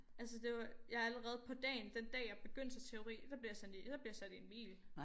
Altså det var jeg allerede på dagen den dag jeg begyndte til teori der blev jeg sendt i der blev jeg sat i en bil